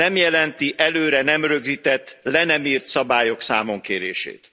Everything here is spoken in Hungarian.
Nem jelenti előre nem rögzített, le nem írt szabályok számonkérését.